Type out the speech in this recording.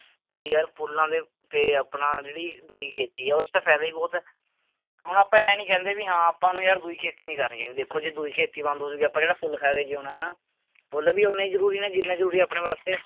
ਵੀ ਯਾਰ ਫੁੱਲਾਂ ਦੇ ਤੇ ਆਪਣਾ ਜਿਹੜੀ ਦੂਈ ਖੇਤੀ ਆ ਉਹ ਚ ਤਾਂ ਫ਼ਾਇਦਾ ਹੀ ਬਹੁਤ ਹੈ, ਹੁਣ ਆਪਾਂ ਇਉਂ ਨੀ ਕਹਿੰਦੇ ਵੀ ਹਾਂ ਆਪਾਂ ਨੂੰ ਯਾਰ ਦੂਈ ਖੇਤੀ ਨੀ ਕਰਨੀ ਚਾਹੀਦੀ, ਦੇਖੋ ਜੇ ਦੂਈ ਖੇਤੀ ਬੰਦ ਹੋ ਜਾਊਗੀ ਆਪਾਂ ਕਿਹੜਾ ਫੁੱਲ ਖਾ ਕੇ ਜਿਉਣਾ ਹਨਾ, ਫੁੱਲ ਵੀ ਓਨੇ ਹੀ ਜ਼ਰੂਰੀ ਨੇ ਜਿੰਨਾ ਜ਼ਰੂਰੀ ਆਪਣੇ ਵਾਸਤੇ